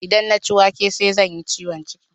Idan na ci wake sai zan yi ciwon ciki